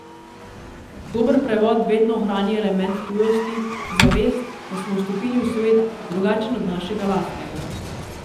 Dober prevod vedno ohrani element tujosti, zavest, da smo vstopili v svet, drugačen od našega lastnega.